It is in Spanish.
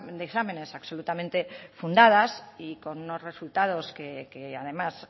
de exámenes absolutamente fundadas y con unos resultados que además